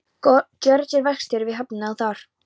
Georg er verkstjóri við höfnina þar.